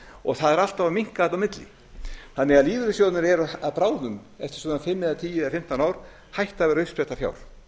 og það eru alltaf að minnka þarna á milli þannig að lífeyrissjóðirnir eru bráðum eftir svona fimm tíu eða fimmtán ár hættir að vera uppspretta fjár